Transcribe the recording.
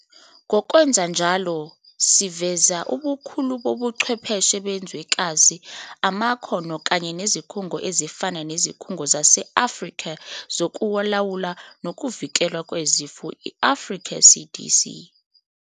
Ngokwenza njalo siveze ubukhulu bobuchwepheshe bezwekazi, amakhono kanye nezikhungo ezifana neZikhungo zase-Afrika Zokulawula Nokuvikelwa Kwezifo, i-Africa CDC.